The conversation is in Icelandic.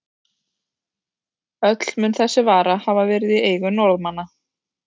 Öll mun þessi vara hafa verið í eigu Norðmanna.